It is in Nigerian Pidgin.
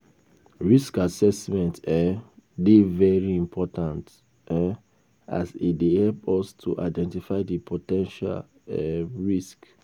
Risk assessment um dey very important um as e dey help us to identify di po ten tial um risks.